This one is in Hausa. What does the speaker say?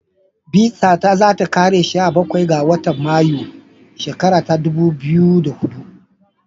Bizata za ta kare sha Bakwai ga watan Mayu 2 shikara ta dubu biyu hudu.